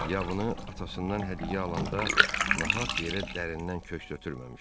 Yabını atasından hədiyyə alanda nahaq yerə dərindən köks ötürməmişdi.